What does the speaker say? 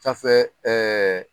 Safɛ